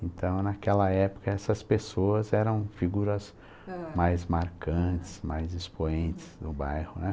Então, naquela época, essas pessoas eram figuras, ãh, mais marcantes, mais expoentes no bairro, né?